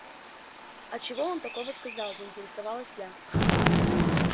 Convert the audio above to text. а чего он такого сказал заинтересовалась я